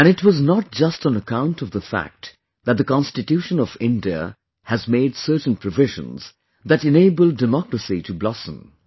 And it was not just on account of the fact that the constitution of India has made certain provisions that enabled Democracy to blossom